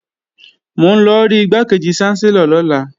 Mò ń lọ rí Igbákejì ṣánsẹ́lọ̀ lọ́la